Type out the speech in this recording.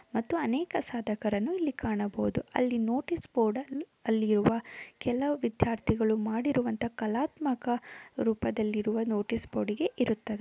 ಮತ್ತು ಅನೇಕ ಸಾಧಕರನ್ನು ಇಲ್ಲಿ ಕಾಣಬಹುದು ಅಲ್ಲಿ ನೋಟಿಸ್ ಬೋರ್ಡನ್ನು ಅಲ್ಲಿರುವ ಕೆಲವು ವಿದ್ಯಾರ್ಥಿಗಳು ಮಾಡಿರುವಂತಹ ಕಲಾತ್ಮಕ ರೂಪದಲ್ಲಿರುವ ನೋಟಿಸ್ ಬೋರ್ಡ್ಗೆ ಇರುತ್ತದೆ.